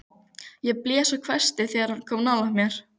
Ég blés og hvæsti þegar hann kom nálægt mér.